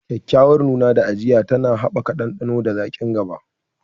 Kyakkyawar nuna da ajiya tana haɓaka ɗanɗano da zaƙin goba.